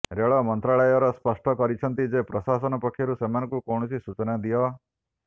ରେଳ ମନ୍ତ୍ରଣାଳୟ ସ୍ପଷ୍ଟ କରିଛନ୍ତି ଯେ ପ୍ରଶାସନ ପକ୍ଷରୁ ସେମାନଙ୍କୁ କୌଣସି ସୂଚନା ଦିଅ